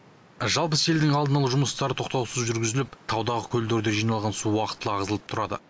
жалпы селдің алдын алу жұмыстары тоқтаусыз жүргізіліп таудағы көлдерде жиналған су уақытылы ағызылып тұрады